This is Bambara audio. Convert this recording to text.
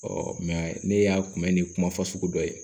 mɛ ne y'a kunbɛn ni kuma fasugu dɔ ye